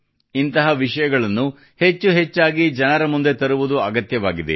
ಇಂತಹ ವಿಷಯಗಳನ್ನು ಹೆಚ್ಚು ಹೆಚ್ಚಾಗಿ ಜನರ ಮುಂದೆ ತರುವುದು ಅಗತ್ಯವಾಗಿದೆ